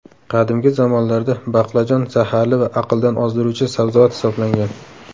Qadimgi zamonlarda baqlajon zaharli va aqldan ozdiruvchi sabzavot hisoblangan.